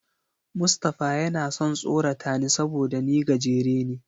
Mustapha yana son tsorata ni saboda ni gajere ne.